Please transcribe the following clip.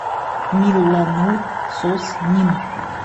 милланур соснин